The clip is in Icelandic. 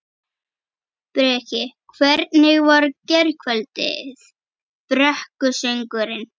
Breki: Hvernig var gærkvöldið, brekkusöngurinn?